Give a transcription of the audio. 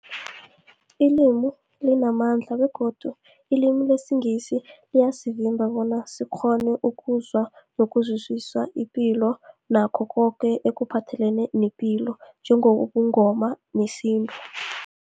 Ilimi limamandla begodu ilimi lesiNgisi liyasivimba bona sikghone ukuzwa nokuzwisisa ipilo nakho koke ekuphathelene nepilo njengobuNgoma nesintu.